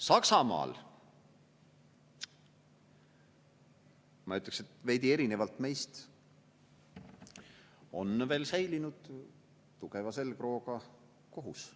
Saksamaal, ma ütleks, et veidi erinevalt meist on veel säilinud tugeva selgrooga kohus.